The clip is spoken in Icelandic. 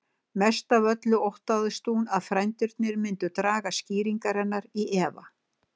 Mest af öllu óttaðist hún að frændurnir myndu draga skýringar hennar í efa.